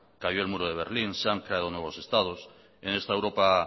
calló el muro de berlín se han creado nuevos estados en esta europa